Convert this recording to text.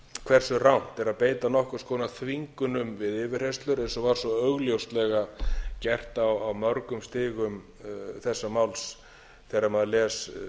hversu rangt er að beita nokkurs konar þvingunum við yfirheyrslur eins og var svo augljóslega gert á mörgum stigum þessa máls þegar maður les